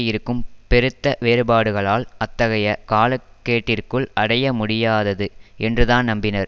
இருக்கும் பெருத்த வேறுபாடுகளால் அத்தகைய காலக்கேட்டிற்குள் அடையமுடியாதது என்றுதான் நம்பினர்